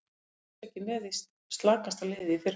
Við vorum alls ekki með slakasta liðið í fyrra.